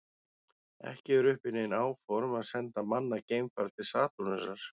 Ekki eru uppi nein áform að senda mannað geimfar til Satúrnusar.